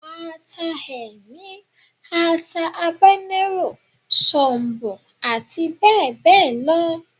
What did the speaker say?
Ata Ẹmi, ata Habanero, sọ̀ǹbọ̀ ati bẹbẹ lọ.